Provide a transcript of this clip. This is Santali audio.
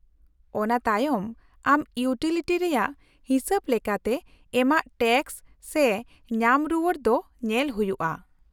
-ᱚᱱᱟ ᱛᱟᱭᱚᱢ ᱟᱢ ᱤᱭᱩᱴᱤᱞᱤᱴᱤ ᱨᱮᱭᱟᱜ ᱦᱤᱥᱟᱹᱵ ᱞᱮᱠᱟᱛᱮ ᱮᱢᱟᱜ ᱴᱮᱠᱥ ᱥᱮ ᱧᱟᱢ ᱨᱩᱣᱟᱹᱲ ᱫᱚ ᱧᱮᱞ ᱦᱩᱭᱩᱜᱼᱟ ᱾